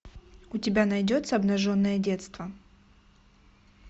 у тебя найдется обнаженное детство